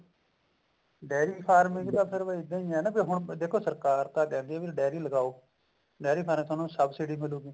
diary farming ਤਾਂ ਹੁਣ ਇੱਦਾਂ ਹੈ ਵੀ ਦੇਖੋ ਹੁਣ ਸਰਕਾਰ ਤਾਂ ਕਹਿੰਦੀ ਹੈ ਵੀ ਡਾਇਰੀ ਲਗਾਓ ਡਾਇਰੀ ਫਾਰਮ ਚ ਥੋਨੂੰ ਸਬਸਿਡੀ ਮਿਲੂਗੀ